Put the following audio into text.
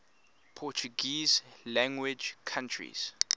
portuguese language countries